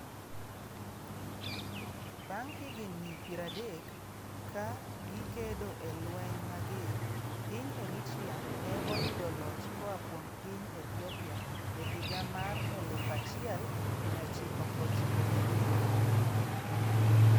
Bang' higni 30 ka gikedo e lweny mager, piny Eritrea ne oyudo loch koa kuom piny Ethiopia e higa mar 1993.